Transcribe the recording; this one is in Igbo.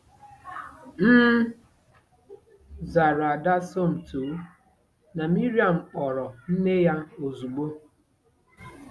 M zara ada Somto, na Miriam kpọrọ nne ya ozugbo.